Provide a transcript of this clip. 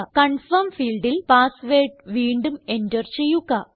confirm ഫീൽഡിൽ password വീണ്ടും enter ചെയ്യുക